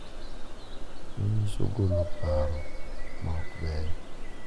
Manyiso golo paro ma ok beyo